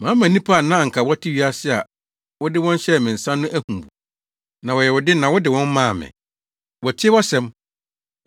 “Mama nnipa a na anka wɔte wiase a wode wɔn hyɛɛ me nsa no ahu wo. Na wɔyɛ wo de na wode wɔn maa me. Wɔatie wʼasɛm.